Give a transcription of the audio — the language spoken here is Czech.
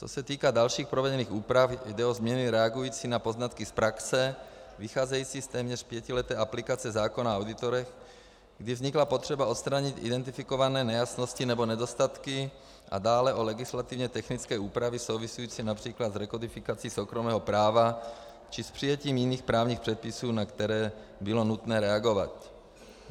Co se týká dalších provedených úprav, jde o změny reagující na poznatky z praxe vycházející z téměř pětileté aplikace zákona o auditorech, kdy vznikla potřeba odstranit identifikované nejasnosti nebo nedostatky, a dále o legislativně technické úpravy související například s rekodifikací soukromého práva či s přijetím jiných právních předpisů, na které bylo nutné reagovat.